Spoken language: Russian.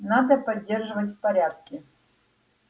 надо поддерживать в порядке